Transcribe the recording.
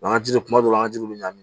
an ji kuma dɔw la an ka jiw bi ɲami